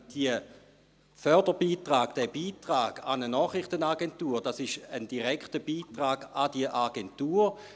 Der Förderbeitrag, der Beitrag an eine Nachrichtenagentur, ist ein direkter Beitrag an diese Agentur.